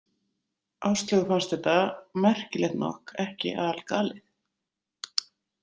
Áslaugu fannst þetta, merkilegt nokk, ekki algalið.